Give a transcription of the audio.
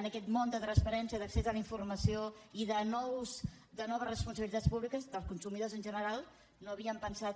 en aquest món de transpa·rència d’accés a la informació i de noves responsabili·tats públiques dels consumidors en general no havien pensat que